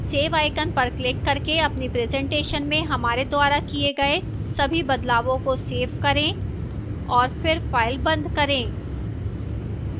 save icon पर click करके अपनी presentation में हमारे द्वारा किए गए सभी बदलावों को सेव करें और फिर फाइल बंद करें